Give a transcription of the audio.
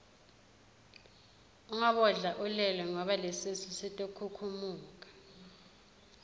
ungabodla ulele ngoba lesisu sitokhukhumuka